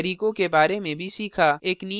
एक नियतकार्य के रूप में :